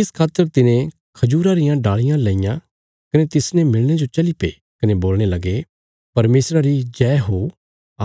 इस खातर तिने खजूरा रियां डालियां लईयां कने तिसने मिलणे जो चलीपे कने बोलणे लगे परमेशरा री जय हो